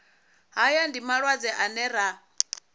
haya ndi malwadze ane ra